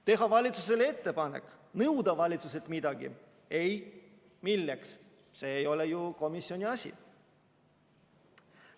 Teha valitsusele ettepanek, nõuda valitsuselt midagi – ei, milleks, see ei ole ju komisjoni asi.